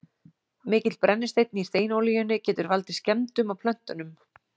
Mikill brennisteinn í steinolíunni getur valdið skemmdum á plöntunum.